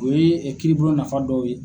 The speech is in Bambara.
O ye kiiribulon nafa dɔw ye.